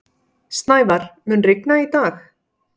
Snævar, mun rigna í dag?